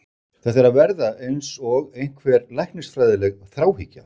Þetta er að verða eins og einhver læknisfræðileg þráhyggja.